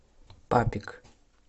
папик